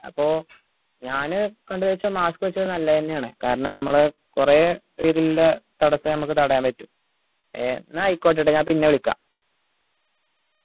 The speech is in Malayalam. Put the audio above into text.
അപ്പൊ ഞാൻ കണ്ടത് വെച്ചാ mask വെച്ചാ നല്ലത് തന്നെയാണ് കാരണം നമ്മൾ കൊറേ തടസം നമ്മക്ക് തടയാൻ പറ്റും ഏർ എന്നാ ആയിക്കോട്ടെ ഞാൻ പിന്നെ വിളിക്ക